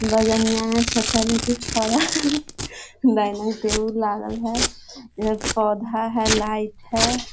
बजनिया है छाता लेकर खड़ा है डाइनिंग टेबल लागल है एक पौधा है लाइट है।